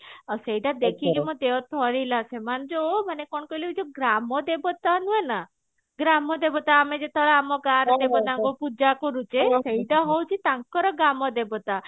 ଆଉ ସେଇଟା ଦେଖିକି ମୋ ଦେହ ଥରିଲା ସେମାନେ ଯୋଉ ମାନେ କଣ କହିଲୁ ଏଇ ଯୋଉ ଗ୍ରାମ ଦେବତା ହୁହେ ନା ଆମେ ଯେତେବେଳ ଆମ ଗା ରେ ଦେବତାଙ୍କୁ ପୂଜା କରୁଛେ ସେଇଟା ହଉଛି ତାଙ୍କର ଗ୍ରାମ ଦେବତା